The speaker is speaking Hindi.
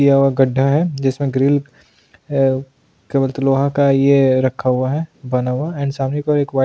यहां एक गढ्ढा है जिसमें ग्रिल है लोहा का ये रखा हुआ है बना हुआ एंड सामने को एक --